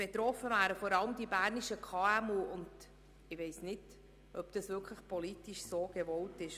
Betroffen wären davon vor allem die bernischen KMU, und ich weiss nicht, ob das politisch wirklich gewollt ist.